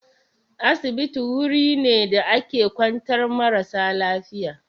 Asibiti wuri ne da ake kwantar marasa lafiya.